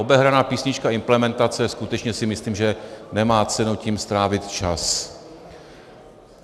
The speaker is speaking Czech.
Obehraná písnička implementace, skutečně si myslím, že nemá cenu tím strávit čas.